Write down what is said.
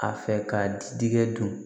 A fɛ ka di diɲɛ don